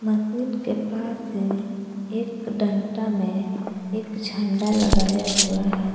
Machine के पास में एक डंडा में एक झंडा लगाया हुआ है।